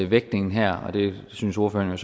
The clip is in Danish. vægtningen her og det synes ordføreren